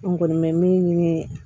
An kɔni bɛ min ye